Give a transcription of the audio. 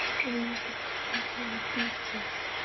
я его только что сделала пиздец